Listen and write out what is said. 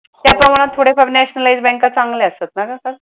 त्याच्यामुळ थोड्याफार nationalised बँका चांगल्या असतात ना कस